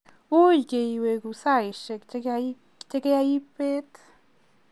ui ke iwegu saishek che kiabet